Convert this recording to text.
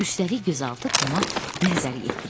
Üstəlik gözaltı Toma nəzər yetirir.